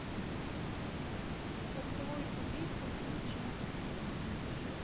поцелуй убийцы включи